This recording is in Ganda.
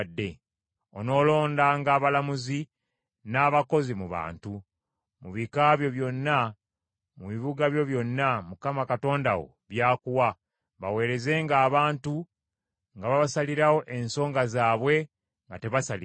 Onoolondanga abalamuzi n’abakulembeze mu bantu, mu bika byo byonna, mu bibuga byo byonna, Mukama Katonda wo by’akuwa, baweerezenga abantu nga babasalirawo ensonga zaabwe nga tebasaliriza.